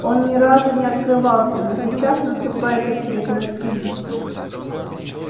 он ни разу не открылся но сейчас наступает очередной кризис